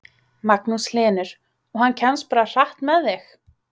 Magnús Hlynur: Og hann kemst bara hratt með þig?